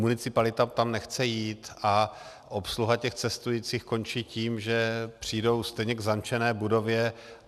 Municipalita tam nechce jít a obsluha těch cestujících končí tím, že přijdou stejně k zamčené budově.